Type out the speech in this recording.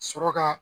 Sɔrɔ ka